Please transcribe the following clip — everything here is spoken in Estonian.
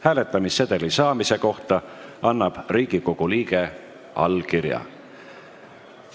Hääletamissedeli saamise kohta annab Riigikogu liige allkirja.